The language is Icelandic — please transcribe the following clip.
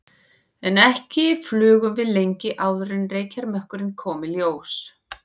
En ekki flugum við lengi áður en reykjarmökkurinn kom í ljós.